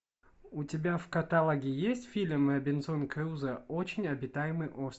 у тебя в каталоге есть фильм робинзон крузо очень обитаемый остров